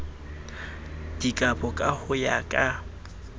dikabo ka ho ya ka